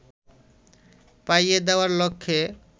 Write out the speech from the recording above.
পাইয়ে দেওয়ার লক্ষ্যে